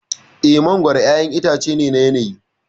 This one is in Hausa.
Eh, mangwaro ƴaƴan itace ne na yanayi.